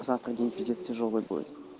завтра день пиздец тяжёлый будет